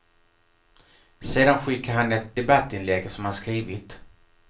Sedan skickar han ett debattinlägg som han skrivit.